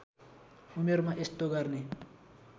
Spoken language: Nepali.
उमेरमा यस्तो गर्ने